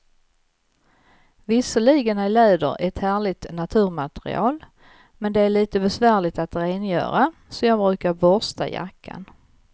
Visserligen är läder ett härligt naturmaterial, men det är lite besvärligt att rengöra, så jag brukar borsta jackan.